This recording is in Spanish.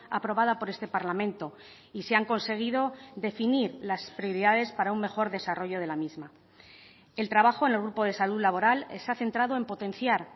aprobada por este parlamento y se han conseguido definir las prioridades para un mejor desarrollo de la misma el trabajo en el grupo de salud laboral se ha centrado en potenciar